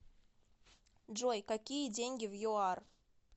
джой какие деньги в юар